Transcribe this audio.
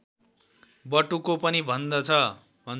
बटुको पनि भन्छन्